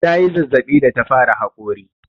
Ta yi zazzaɓi da ta fara haƙori.